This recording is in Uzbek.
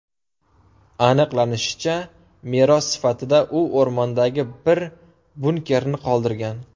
Aniqlanishicha, meros sifatida u o‘rmondagi bir bunkerni qoldirgan.